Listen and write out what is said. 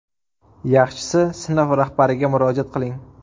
Yaxshisi sinf rahbariga murojaat qiling.